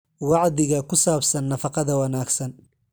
Wacdiga ku saabsan nafaqada wanaagsan.